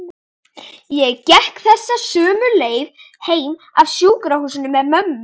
Ég gekk þessa sömu leið heim af sjúkrahúsinu með mömmu.